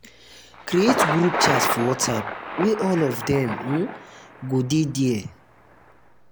create group um chat for whatsapp wey all of dem um go um de there